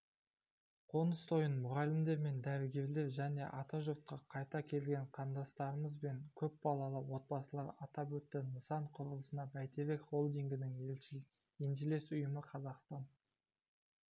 қоныстойын мұғалімдер мен дәрігерлер және атажұртқа қайта келген қандастарымыз мен көпбалалы отбасылар атап өтті нысан құрылысын бәйтерек холдингінің еншілес ұйымы қазақстан